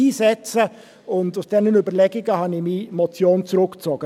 Aufgrund dieser Überlegungen habe ich meine Motion zurückgezogen.